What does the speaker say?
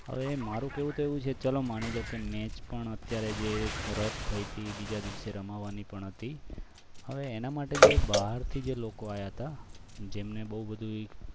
હવે મારું કહેવું તો એવું છે કે ચાલો માની લો કે match અત્યારે જે રત થઈ હતી બીજા દિવસે રમવાની પણ નથી હવે એના માટે જે બહારથી લોકો આવ્યા હતા જેમને બહુ બધું